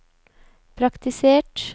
praktisert